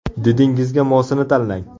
Didingizga mosini tanlang!